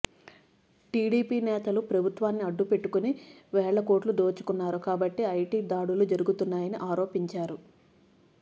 TDP నేతలు ప్రభుత్వాన్ని అడ్డుపెట్టుకొని వేల కోట్లు దోచుకున్నారు కాబట్టే ఐటీ దాడులు జరుగుతున్నాయని ఆరోపించారు